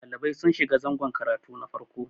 ɗalibai sun shiga zangon karatu na farko